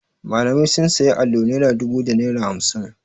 Malamai sun sayi allo naira dubu da naira hamsin.